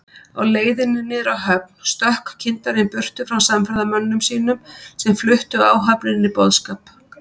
Á leiðinni niður að höfn stökk kyndarinn burtu frá samferðamönnum sínum, sem fluttu áhöfninni boðskap